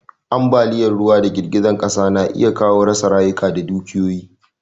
Ambaliyan ruwa da girgizar ƙasa na iya kawo rasa rayuka da dukiyoyi